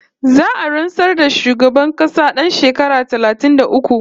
Za'a rantsar da sabon shugaban ƙasa ɗan shekara talatin da uku